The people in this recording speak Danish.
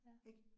Ja